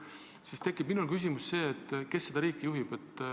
Minul tekib küsimus, kes seda riiki juhib.